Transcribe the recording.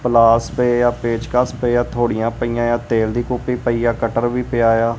ਪਲਾਸ ਪਏ ਆ ਪੇਚਕਸ ਪਏ ਆ ਹੱਥੋੜੀਆਂ ਪਈਆਂ ਆ ਤੇਲ ਦੀ ਕੂਪੀ ਪਈ ਆ ਕਟਰ ਵੀ ਪਿਆ ਆ।